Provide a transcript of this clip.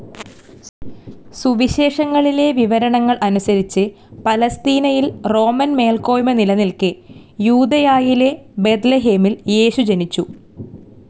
സുവിശേഷങ്ങളിലെ വിവരണങ്ങൾ അനുസരിച്ച്, പലസ്തീനയിൽ റോമൻ മേൽക്കോയ്മ നിലനിൽക്കേ, യൂദയായിലെ ബേത്‌ലഹേമിൽ യേശു ജനിച്ചു.